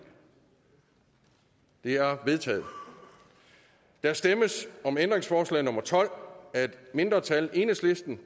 er vedtaget der stemmes om ændringsforslag nummer tolv af et mindretal